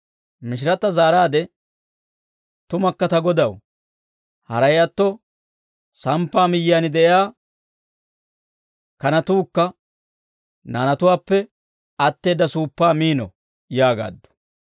Mishiratta zaaraade, «Tumakka ta Godaw, haray atto samppaa miyyiyaan de'iyaa kanatuukka naanatuwaappe atteedda suuppaa miino» yaagaaddu.